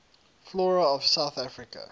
flora of south africa